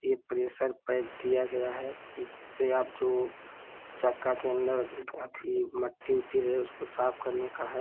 ये pressure pipe दिया गया है इस से आप जो चक्का के अंदर न् अथी मट्टी-उट्टी रहे उसको साफ़ करने का है।